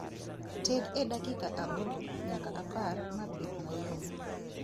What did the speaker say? Ted e dakika aboro nyaka apar mabed mayom